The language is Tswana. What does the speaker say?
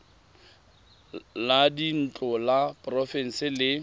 la dintlo la porofense le